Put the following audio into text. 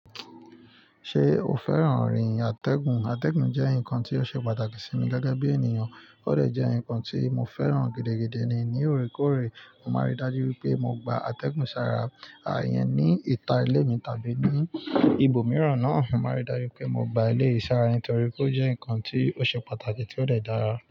Ṣé o fẹ́ràn rìn atẹ́gùn? Atẹ́gùn jẹ́ nǹkan tí ó ṣe pàtàkì sí mi gẹ́gẹ́ bí ènìyàn, ó lè jẹ́ nǹkan tí mo fẹ́ràn gidi ni. Ni óòrèkóòrè, mo máa rí i dájú pé mo gba atẹ́gùn sára àyàn ní ìta ilé mi tàbí ní ibòmíràn náà. Mo máa rí i dájú pé mo gba ilé sára, nítorí pé ó jẹ́ nǹkan tí ó ṣe pàtàkì tí ó lè dára.